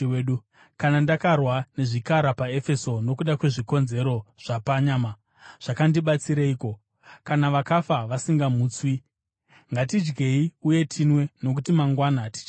Kana ndakarwa nezvikara paEfeso nokuda kwezvikonzero zvapanyama, zvakandibatsireiko? Kana vakafa vasingamutswi, “Ngatidyei uye tinwe, nokuti mangwana tichafa.”